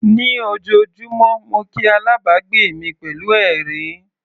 Ní ojoojúmọ́ mo kí alábàgbé mi pẹ̀lú ẹ̀rín.